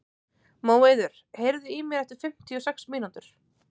Móeiður, heyrðu í mér eftir fimmtíu og sex mínútur.